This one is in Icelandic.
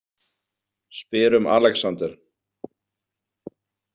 Spyr um Alexander.